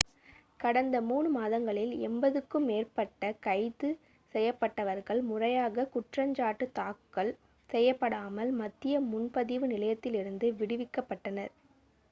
கடந்த 3 மாதங்களில் 80-க்கும் மேற்பட்ட கைது செய்யப்பட்டவர்கள் முறையாகக் குற்றஞ்சாட்டு தாக்கல் செய்யப்படாமல் மத்திய முன்பதிவு நிலையத்திலிருந்து விடுவிக்கப்பட்டனர்